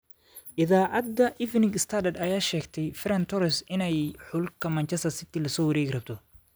Iidacada Evening Standard, aya sheegtey Ferran Torres inay xulka Manchester City lasowarekirabto.